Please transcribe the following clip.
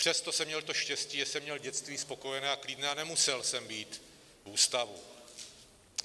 Přesto jsem měl to štěstí, že jsem měl dětství spokojené a klidné a nemusel jsem být v ústavu.